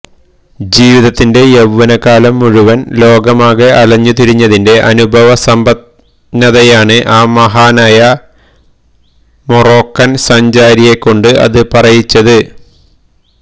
ജീവിതത്തിന്റെ യൌവനകാലം മുഴുവന് ലോകമാകെ അലഞ്ഞു തിരിഞ്ഞതിന്റെ അനുഭവസമ്പന്നതയാണ് ആ മഹാനായ മൊറോക്കന് സഞ്ചാരിയെക്കൊണ്ട് അത് പറയിച്ചത്